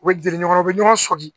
U bɛ gɛrɛ ɲɔgɔn na u bɛ ɲɔgɔn sɔmi